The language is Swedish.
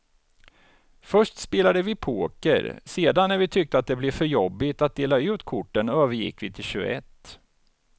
Först spelade vi poker, sedan när vi tyckte att det blev för jobbigt att dela ut korten övergick vi till tjugoett.